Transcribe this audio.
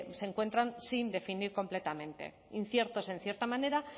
se encuentran sin definir completamente inciertos en cierta manera